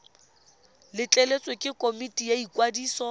letleletswe ke komiti ya ikwadiso